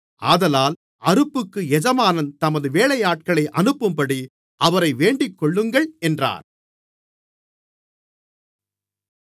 ஆதலால் அறுப்புக்கு எஜமான் தமது வேலையாட்களை அனுப்பும்படி அவரை வேண்டிக்கொள்ளுங்கள் என்றார்